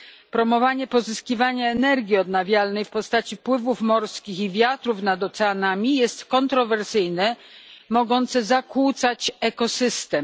Promowanie pozyskiwania energii odnawialnej w postaci pływów morskich i wiatrów nad oceanami jest kontrowersyjne i może zakłócać ekosystem.